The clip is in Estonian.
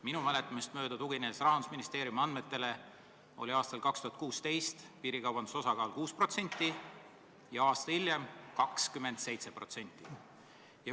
Minu mäletamist mööda – ma tuginen Rahandusministeeriumi andmetele – oli aastal 2016 piirikaubanduse osakaal 6% ja aasta hiljem 27%.